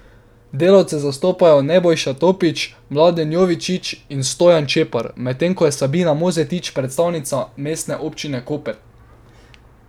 Delavce zastopajo Nebojša Topič, Mladen Jovičič in Stojan Čepar, medtem ko je Sabina Mozetič predstavnica Mestne občine Koper.